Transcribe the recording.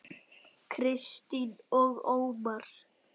Kristín og Ómar.